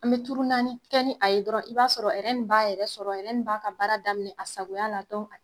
An be naani kɛ ni a ye dɔrɔn ,i b'a sɔrɔ nin b'a yɛrɛ sɔrɔ nin b'a ka baara daminɛ a sagoya la